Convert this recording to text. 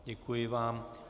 Děkuji vám.